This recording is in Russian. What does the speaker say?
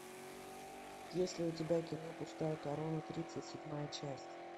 есть ли у тебя кино пустая корона тридцать седьмая часть